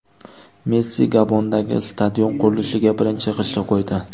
Messi Gabondagi stadion qurilishiga birinchi g‘ishtni qo‘ydi.